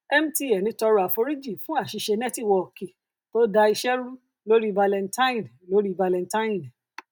mtn tọrọ àforíjì fún àṣìṣe nẹtiwọọki tó da iṣẹ rú lórí valentine lórí valentine